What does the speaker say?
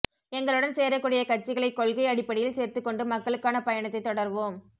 எங்களுடன் சேரக் கூடிய கட்சிகளை கொள்கை அடிப்படையில் சேர்த்துக் கொண்டு மக்களுக்கான பயணத்தைத் தொடருவோம்